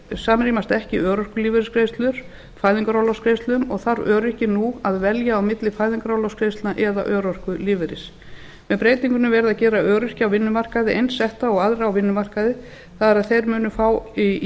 samrýmast ekki örorkulífeyrisgreiðslur fæðingarorlofsgreiðslum og þarf öryrki nú að velja á milli fæðingarorlofsgreiðslna eða örorkulífeyris með breytingunni er verið að gera öryrkja á vinnumarkaði eins setta og aðra á vinnumarkaði það er þeir munu fá í